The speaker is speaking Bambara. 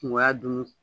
Kungoya dun